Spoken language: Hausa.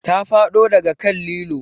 Ta faɗo daga kan lilo